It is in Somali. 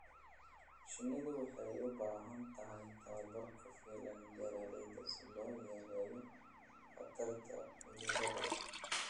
Shinnidu waxay u baahan tahay tababar ku filan beeralayda si loo yareeyo khatarta cudurada.